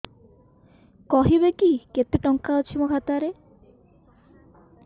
କହିବେକି କେତେ ଟଙ୍କା ଅଛି ମୋ ଖାତା ରେ